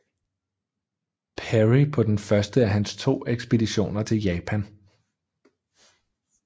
Perry på den første af hans to ekspeditioner til Japan